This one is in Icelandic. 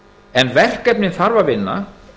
en verkefnin þarf að vinna